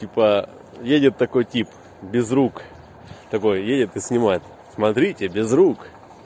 типа едет такой тип безрук такое едет и снимается смотрите без рук